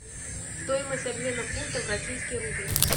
стоимость обмена фунта в российский рубль